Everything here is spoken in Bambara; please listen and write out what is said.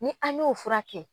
Ni an y'o fura kɛ